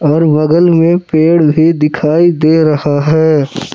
और बगल में पेड़ भी दिखाई दे रहा है।